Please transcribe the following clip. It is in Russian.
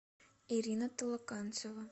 ирина толоканцева